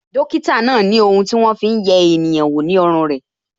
Dókítà náà ni ohun ti won Fi hun ye eniyan wo ní ọrùn re